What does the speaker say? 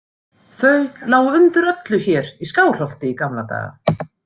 Þau lágu undir öllu hér í Skálholti í gamla daga.